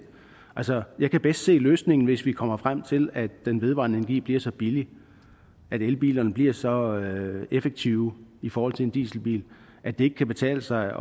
altså jeg kan bedst se løsningen hvis vi kommer frem til at den vedvarende energi bliver så billig og elbilerne bliver så effektive i forhold til en dieselbil at det ikke kan betale sig